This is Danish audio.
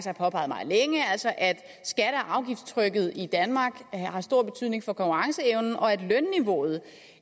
har påpeget meget længe altså at skatte og afgiftstrykket i danmark har stor betydning for konkurrenceevnen og at lønniveauet